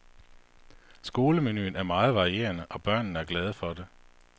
Skolemenuen er meget varierende, og børnene er glade for det.